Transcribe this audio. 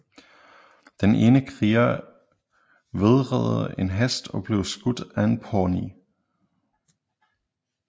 Den ene kriger vædrede en hest og blev skudt af en pawnee